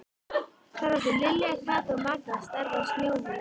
Þar áttu Lilla, Kata og Magga stærðar snjóhús.